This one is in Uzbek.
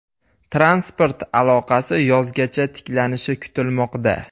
Transport aloqasi yozgacha tiklanishi kutilmoqda.